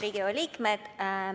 Head Riigikogu liikmed!